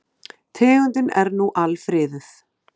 Tegundin er nú alfriðuð.